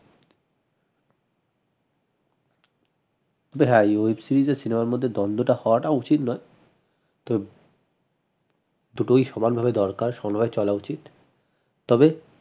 হ্যাঁ web series আর cinema র মধ্যে দন্ডটা হওয়াটা উচিত নয় দুটোই সমান ভাবে দরকার সমানভাবে চলা উচিত তবে